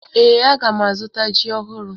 Ee, aga m azụta ji ọhụrụ.